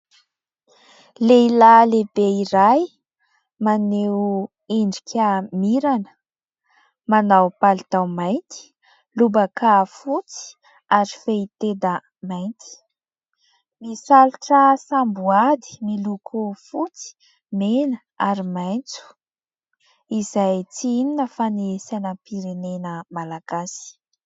Lehilahy lehibe iray maneho endrika mirana manao palitao mainty, lobaka fotsy ary fehitenda mainty, misalotra samboady miloko fotsy, mena ary maitso izay tsy inona fa ny sainam-pirenena malagasy.